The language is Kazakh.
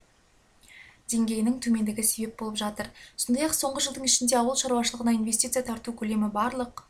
деңгейінің төмендігі себеп болып жатыр сондай-ақ соңғы жылдың ішінде ауыл шаруашылығына инвестиция тарту көлемі барлық